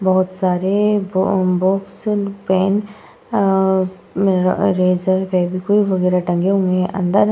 बोहोत सारे box pen eraser Fevikwik वागेरा टंगे हुए हैं। अंदर --